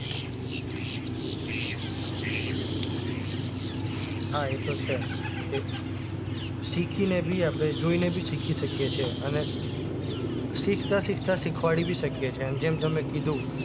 હા એ તો છે કે શીખીને ભી આપણે જોઈને ભી શીખી શકીએ છે અને શીખતા શીખતાં શીખવાડી ભી શકીએ છીએ જેમ તમે કીધું